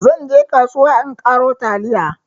zan je kasuwa in karo taliya